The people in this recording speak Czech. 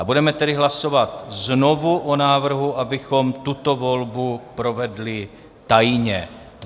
A budeme tedy hlasovat znovu o návrhu, abychom tuto volbu provedli tajně.